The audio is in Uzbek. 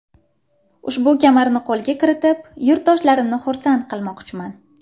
Ushbu kamarni qo‘lga kiritib, yurtdoshlarimni xursand qilmoqchiman.